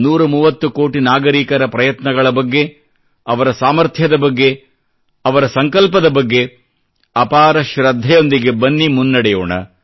130 ಕೋಟಿ ನಾಗರಿಕರ ಪ್ರಯತ್ನಗಳ ಬಗ್ಗೆ ಅವರ ಸಾಮಥ್ರ್ಯದ ಬಗ್ಗೆ ಅವರ ಸಂಕಲ್ಪದ ಬಗ್ಗೆ ಅಪಾರ ಶೃದ್ಧೆಯೊಂದಿಗೆ ಬನ್ನಿ ಮುನ್ನಡೆಯೋಣ